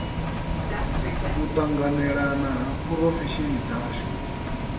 u tanganelana ha phurofesheni dzashu